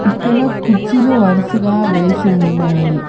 ఇక్కడ కుర్చీలు వరుసగా వేసి ఉన్నాయి.